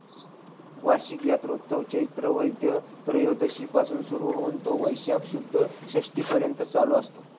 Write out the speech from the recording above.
वार्षिक यात्रोत्सव चैत्र वैद्य त्रयोदशी पासून सुरु होऊन तो वैशाख शुद्ध षष्टी पर्यंत चालू असतो.